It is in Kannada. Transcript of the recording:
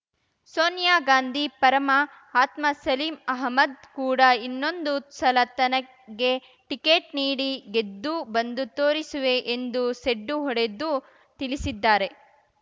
ಸೋನಿಯಾ ಗಾಂಧಿ ಪರಮ ಆತ್ಮ ಸಲೀಂ ಅಹ್ಮದ್ ಕೂಡ ಇನ್ನೊಂದು ಸಲ ತನಗೆ ಟಿಕೆಟ್ ನೀಡಿ ಗೆದ್ದು ಬಂದು ತೋರಿಸುವೆ ಎಂದು ಸೆಡ್ಡು ಹೊಡೆದು ತಿಳಿಸಿದ್ದಾರೆ